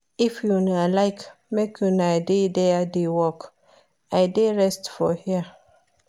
If una like make una dey there dey work, I dey rest for here